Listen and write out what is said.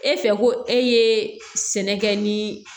E fɛ ko e ye sɛnɛ kɛ ni